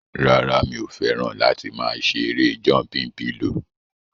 Rárá, mi ò fẹ́ràn láti máa ṣe erée jọmpin pilò